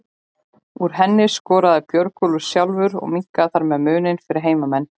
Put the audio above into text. Úr henni skoraði Björgólfur sjálfur og minnkaði þar með muninn fyrir heimamenn.